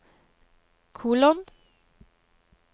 kolon